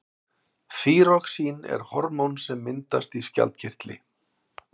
þýróxín er hormón sem myndast í skjaldkirtli